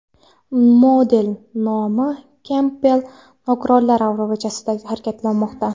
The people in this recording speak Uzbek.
Model Naomi Kempbell nogironlar aravachasida harakatlanmoqda.